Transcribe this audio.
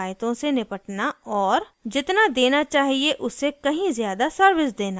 जितना देना चाहिए उससे कहीं ज़्यादा सर्विस देना